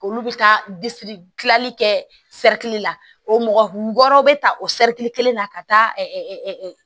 Olu bɛ taa kilali kɛ la o mɔgɔ wɔɔrɔ bɛ ta o kelen na ka taa